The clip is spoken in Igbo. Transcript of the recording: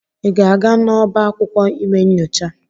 Ị ga-aga n'ọbá akwụkwọ ime nyocha?